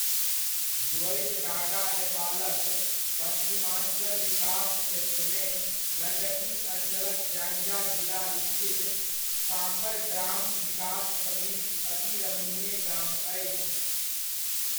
ज्वइतडाँडा नेपालक पश्चिमाञ्चल विकास क्षेत्रमे गण्डकी अञ्चलक स्याङ्जा जिला स्थित साँखर ग्राम विकास समिति अति रमणीय गाम अछि।